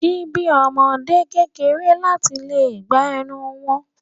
Ṣíbí ọmọde kéré láti lè gba ẹnu wọn.